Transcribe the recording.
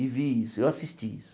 E vi isso, eu assisti isso.